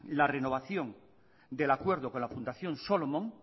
la renovación del acuerdo con la fundación solomon